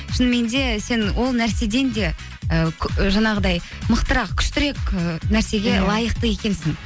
шынымен де сен ол нәрседен де ы жаңағыдай мықтырақ күштірек і нәрсеге лайықты екенсің